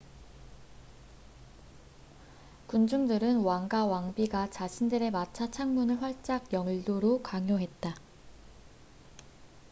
군중들은 왕과 왕비가 자신들의 마차 창문을 활짝 열도록 강요했다